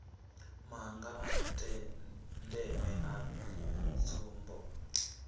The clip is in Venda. maga a ndeme a tsumbo